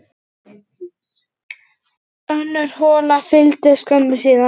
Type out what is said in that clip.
Önnur hola fylgdi skömmu síðar.